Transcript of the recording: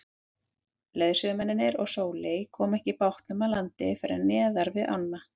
Leiðsögumennirnir og Sóley komu ekki bátnum að landi fyrr en neðar við ána.